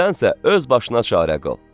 Sənsə öz başına çarə qıl.